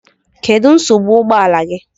Kedu nsogbu ụgbọ ala gị?